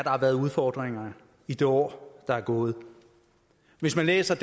har været udfordringerne i det år der er gået hvis man læser